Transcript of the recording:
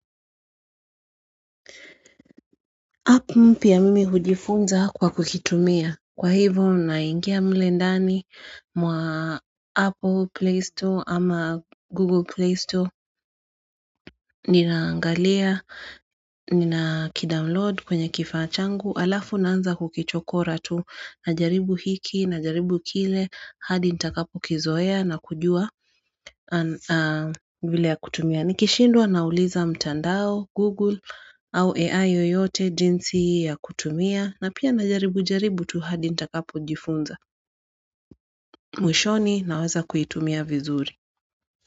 App mpya mimi hujifunza kwa kuitumia. Kwa hivo naingia mle ndani mwa Apple Play Store ama Google Play Store ninaangalia, ninakidownload kwenye kifaa changu. Alafu naanza kukichokora tu najaribu hiki najaribu kile hadi nitakapo kizoea nakujua vile ya kutumia. Nikishindwa nauliza mtandao, Google au AI yoyote jinsi ya kutumia. Na pia najaribu jaribu tu hadi nitakapo jifunza. Mwishoni naweza kuitumia vizuri.